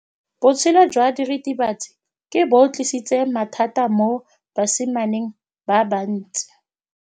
Botshelo jwa diritibatsi ke bo tlisitse mathata mo basimaneng ba bantsi.